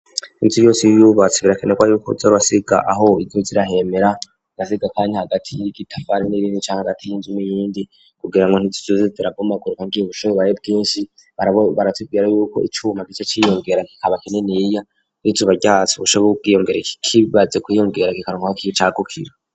Inzu yose iyo uyubatse, birakenerwa yuko uza urasiga aho izoza irahemera, ugasiga akanya hagati y'itafari n'irindi canke hagati y'inzu n'iyindi, kugira ngo ntizoze irabomagurika harya ubushuhe bubaye bwinshi, baratubwira yuko icuma gica ciyongera kikaba kininiya, iyo izuba ryatse ubushuhe bwiyongereye, kikaronka aho cagukira.